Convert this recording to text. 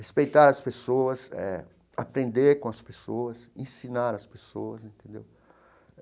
Respeitar as pessoas eh, aprender com as pessoas, ensinar as pessoas entendeu.